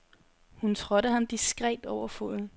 Hun trådte ham diskret over foden.